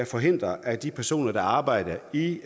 forhindre at de personer der arbejder i